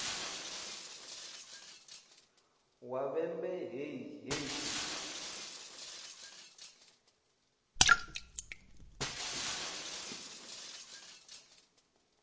wa vhembe hei hei hei